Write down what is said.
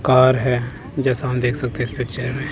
Car है जैसा हम देख सकते हैं इस पिक्चर में।